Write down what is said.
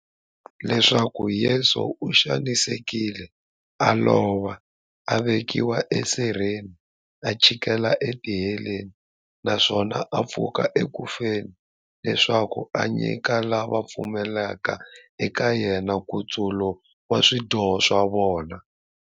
Leswaku Yesu u xanisekile, a lova, a vekiwa e sirheni, a chikela e tiheleni, naswona a pfuka eku feni, leswaku a nyika lava va pfumelaka eka yena, nkutsulo wa swidyoho swa vona.